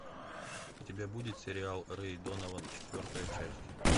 у тебя будет сериал рэй донован четвертая часть